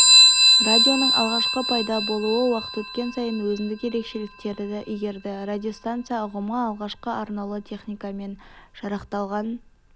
радионың алғашқы пайда болуы уақыт өткен сайын өзіндік ерекшеліктерді игерді радиостанция ұғымы алғашқы арнаулы техникамен жарақталған